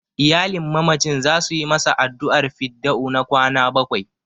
Iyalin mamacin za su yi masa addu'ar fidda'u na kwana bakwai.